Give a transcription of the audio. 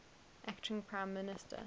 acting prime minister